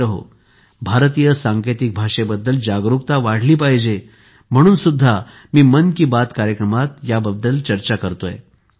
मित्रहो भारतीय सांकेतिक भाषेबद्दल जागरूकता वाढली पाहिजे म्हणूनसुद्धा मी मन की बात कार्यक्रमात याबाबत चर्चा करतो आहे